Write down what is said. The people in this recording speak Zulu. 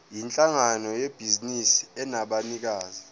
yinhlangano yebhizinisi enabanikazi